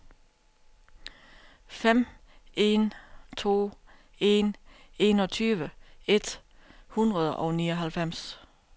fem en to en enogtyve et hundrede og nioghalvfems